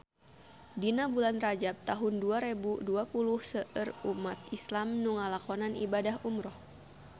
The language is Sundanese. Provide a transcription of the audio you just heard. Dina bulan Rajab taun dua rebu dua puluh seueur umat islam nu ngalakonan ibadah umrah